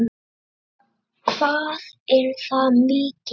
Linda: Hvað er það mikið?